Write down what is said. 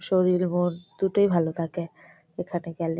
শরীর মন দুটোই ভালো থাকে এখানে গেলে।